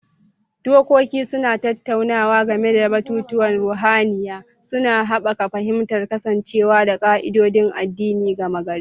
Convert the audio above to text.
Dokoki suna tattaunawa game da batutuwan ruhaniya, suna haɓaka fahimtar kasancewa da ƙa'idodin addini gama gari.